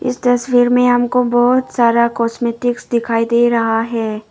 इस तस्वीर में हमको बहुत सारा कॉस्मैटिक्स दिखाई दे रहा है।